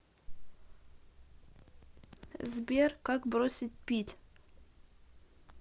сбер как бросить пить